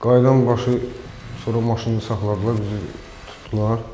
Qayıdan başı sonra maşını saxladılar bizi tutdular.